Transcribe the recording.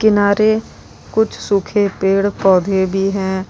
किनारे कुछ सूखे पेड़ पौधे भी है।